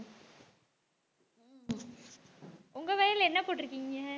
உங்க வயல்ல என்ன போட்ருக்கீங்க